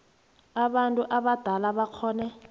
abantu abadala bakghone